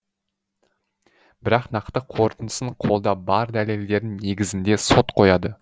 бірақ нақты қорытындысын қолда бар дәлелдердің негізінде сот қояды